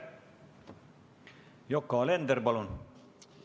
Yoko Alender, palun!